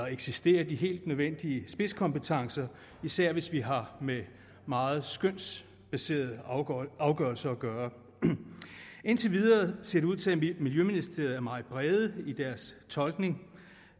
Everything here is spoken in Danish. eksistere de helt nødvendige spidskompetencer især hvis vi har med meget skønsmæssige afgørelser at gøre indtil videre ser det ud til at miljøministeriet er meget brede i deres tolkning